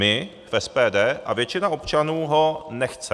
My v SPD a většina občanů ho nechce.